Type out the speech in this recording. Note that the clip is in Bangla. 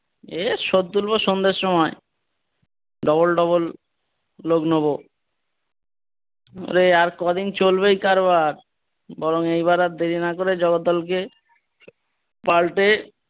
এর সোদ তুলবো সন্ধের সময় double double লোক নোবো। ওরে আর কদিন চলবে এই কারবার বরং এইবার আর দেরি না করে জগদ্দলকে কে পাল্টে,